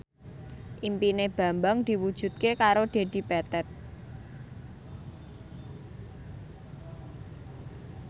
impine Bambang diwujudke karo Dedi Petet